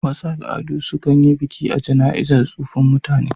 Wasu al'adu sukan yi biki a jana'izan tsofin mutne